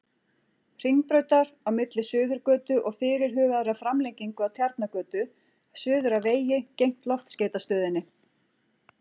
Hringbrautar, á milli Suðurgötu og fyrirhugaðrar framlengingu af Tjarnargötu, suður að vegi gegnt Loftskeytastöðinni.